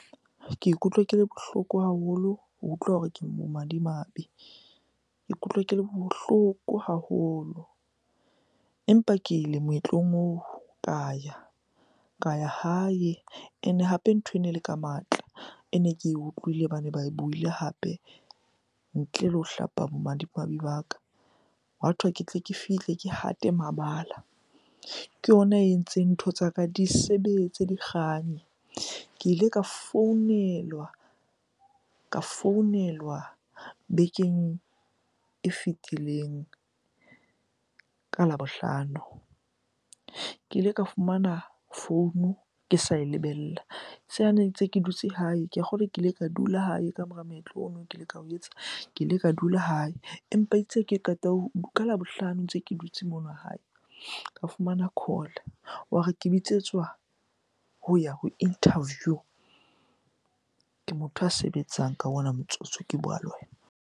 Ke ikutlwa ke le bohloko haholo ho utlwa hore ke bomadimabe. Ke ikutlwa ke le bohloko haholo. Empa ke ile moetlong oo ka ya, ka ya hae and-e hape ntho ene le ka matla. E ne ke utlwile bane ba buile hape ntle le ho hlapa bomadimabe ba ka. Hathwe ke tle ke fihle ke hate mabala. Ke yona e entseng ntho tsa ka di sebetse, dikganye. Ke ile ka founelwa, ka founelwa bekeng e fitileng ka Labohlano. Ke ile ka fumana founu ke sa e lebella ne ntse ke dutse hae. Ke a kgolwa ke ile ka dula hae ka mora moetlo ono ke ile ka ho etsa, ke ile ka dula hae. Empa itse ha ke qeta ka Labohlano ntse ke dutse mona hae, ka fumana call. Wa re ke bitsetswa ho ya ho interview. Ke motho a sebetsang ka ona motsotso ke bua le wena.